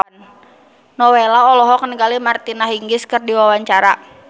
Nowela olohok ningali Martina Hingis keur diwawancara